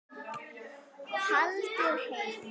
Haldið heim